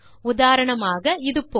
உதாரணமாக இது போல